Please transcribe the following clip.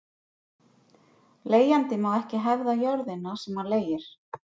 Leigjandi má ekki hefða jörðina sem hann leigir.